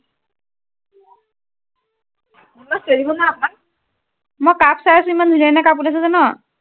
মই cup চাই আছো, ইমান ধুনীয়া ধুনীয়া cup ওলাইছে জান,